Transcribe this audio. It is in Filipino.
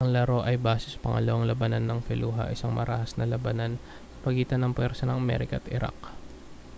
ang laro ay base sa pangalawang labanan ng fallujah isang marahas na labanan sa pagitan ng mga puwersa ng amerika at iraq